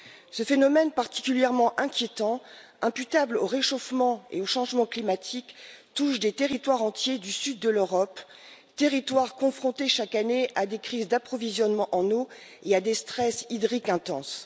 Ce phénomène particulièrement inquiétant, imputable au réchauffement et au changement climatique, touche des territoires entiers du sud de l'Europe, territoires confrontés chaque année à des crises d'approvisionnement en eau et à des stress hydriques intenses.